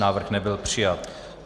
Návrh nebyl přijat.